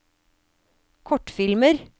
kortfilmer